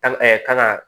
Ɛɛ kan ka